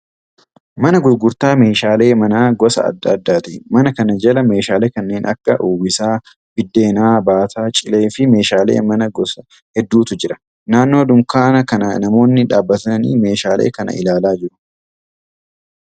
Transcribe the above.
Mana gurgurtaa meeshaalee manaa gosa adda addaati. Mana kana jala meeshaalee kanneen akka uwwisaa biddeenaa, baataa cilee fi meeshaalee mana gosa hedduutu jira. Naannoo dunkaana kanaa namoonni dhaabbatanii meeshaalee kana ilaalaa jiru.